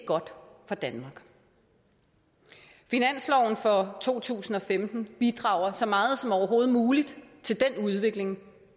godt for danmark finansloven for to tusind og femten bidrager så meget som overhovedet muligt til den udvikling